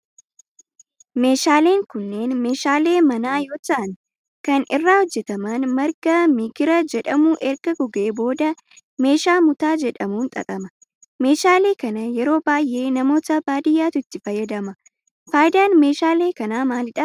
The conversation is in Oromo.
Meeshaaleen kunneen meeshaalee manaa yoo ta'aan kan irraa hojjetaman marga migira jedhamu erga gogee booda meeshaa mutaa jedhamun xaxama. meeshaalee kana yeroo baayyee namoota baadiyaatu itti fayyadama. faayidaan meeshaalee kanaa maalidha?